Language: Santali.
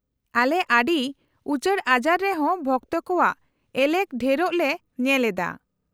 -ᱟᱞᱮ ᱟᱹᱰᱤ ᱩᱪᱟᱹᱲ ᱟᱡᱟᱨ ᱨᱮᱦᱚᱸ ᱵᱷᱚᱠᱛᱚ ᱠᱚᱣᱟᱜ ᱮᱞᱮᱠ ᱰᱷᱮᱨᱚᱜ ᱞᱮ ᱧᱮᱞ ᱮᱫᱟ ᱾